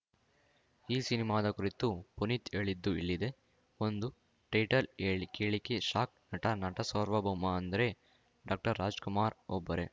ಈ ಸಿನಿಮಾದ ಕುರಿತು ಪುನೀತ್‌ ಹೇಳಿದ್ದು ಇಲ್ಲಿದೆ ಒಂದು ಟೈಟಲ್‌ ಹೇಳಿ ಕೇಳಿಕೆ ಶಾಕ್‌ ನಟ ಸಾರ್ವಭೌಮ ಅಂದ್ರೆ ಡಾಕ್ಟರ್ರಾಜ್‌ಕುಮಾರ್‌ ಒಬ್ಬರೇ